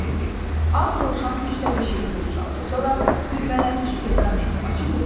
Ağ Dovşan üç dəfə şeypur çaldı, sonra bürəmələnmiş perqamenti açıb oxudu.